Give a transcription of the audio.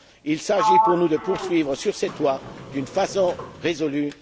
Il s'agit pour nous de poursuivre sur cette voie d'une façon résolue.